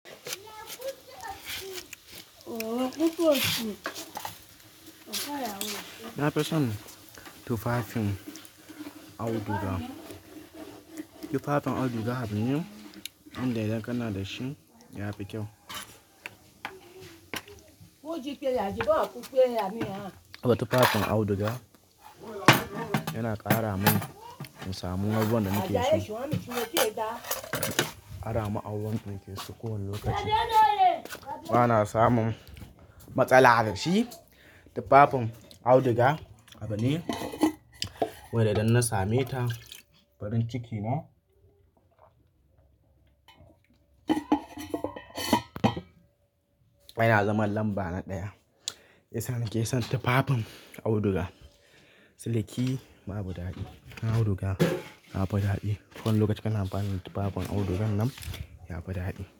Na fi son tufafin auduga. Tufafin auduga, abu ne, wanda idan kana da shi ya fi kyau. Abin tufafin auduga yana ƙara min in samu abubuwan da nake so. Kara ma'aunin da nake so kowane lokaci. Bana samun matsala da shi. Tufafin auduga, abu ne, wanda idan na same ta farin ciki ne. Wai na zama lamba na ɗaya. Shi yasa nake son tufafin auduga. Siliki babu daɗi. Auduga yafi daɗi. Kowane lokaci kana amfani da tufafin auduga nan ya fi daɗi.